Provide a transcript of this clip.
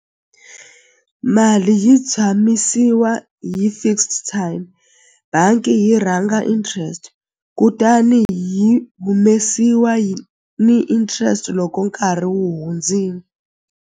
Mali yi tshamisiwa hi fixed time bangi yi rhanga interest kutani hi humesiwa ni interest loko nkarhi wu hundzini.